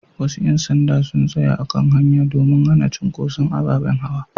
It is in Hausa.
Wasu ƴan sanda sun tsaya a kan wata hanya domin hana cunkuson ababen hawa.